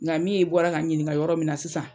Ŋa min ye i bɔra ka n ɲiniŋa yɔrɔ min na sisan